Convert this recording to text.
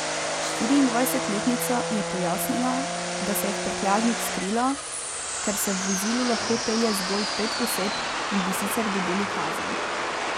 Štiriindvajsetletnica je pojasnila, da se je v prtljažnik skrila, ker se v vozilu lahko pelje zgolj pet oseb in bi sicer dobili kazen.